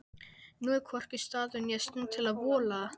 Nú er hvorki staður né stund til að vola!